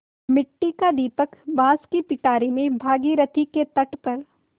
मिट्टी का दीपक बाँस की पिटारी में भागीरथी के तट पर